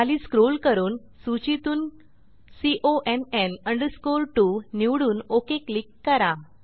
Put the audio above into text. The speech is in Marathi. खाली स्क्रोल करून सूचीतून CONN 2 निवडून ओक क्लिक करा